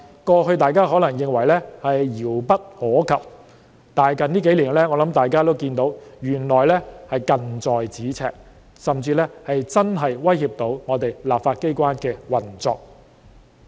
過去，大家可能認為這些情況遙不可及，但近幾年，我相信大家都看到這些情況原來是近在咫尺，甚至真的會威脅到立法機關的運作。